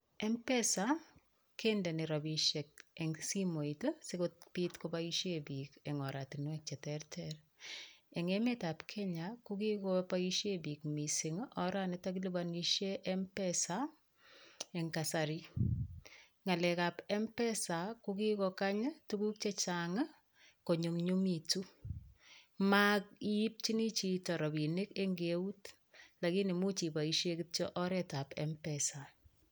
Mpesa kendeni rapishek eng' simoit sikopit kopaishe piik eng' oratinwek cheterter, eng' emet ab Kenya ko kigopoishe piik mising' oranitok kilipanishe Mpesa eng' kasari ng'alek ab Mpesa kogikokany tuguk chechang' ko nyumnyumitu maiipchini chito rapinik eng' keut lakini much ipoishe kityo oret ab Mpesa.